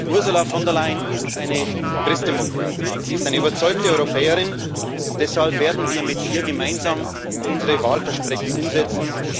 Ursula von der Leyen ist eine Christdemokratin, sie ist eine überzeugte Europäerin, und deshalb werden wir mit ihr gemeinsam unsere Wahlversprechen umsetzen.